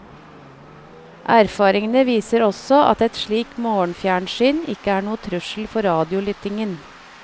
Erfaringene viser også at et slikt morgenfjernsyn ikke er noe trussel for radiolyttingen.